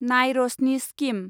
नाय रशनि स्किम